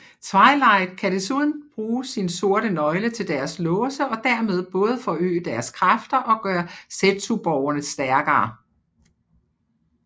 Twilight kan desuden bruge sin sorte nøgle til deres låse og dermed både forøge deres kræfter og gøre zetsuborgene stærkere